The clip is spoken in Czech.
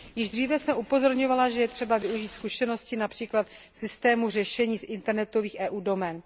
Již dříve jsem upozorňovala, že je třeba využít zkušeností například systému řešení internetových EU domén.